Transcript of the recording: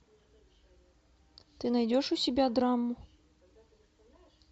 ты найдешь у себя драму